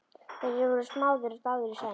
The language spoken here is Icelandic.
Þeir voru smáðir og dáðir í senn.